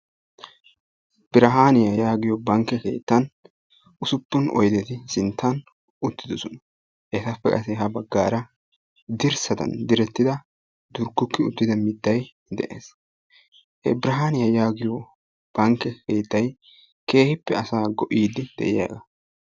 Birahaaniya yaagiyo bankke keettan usuppun oydeti sinttan uttidosona etappe qassi ha baggaara dirssadan direttida turgguggi uttida mittayi de"es. He birahaaniya yaagiyo bankke keettayi keehippe asaa go"iiddi de"iyagaa.